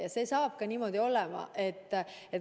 Ja see on niimoodi ka edaspidi.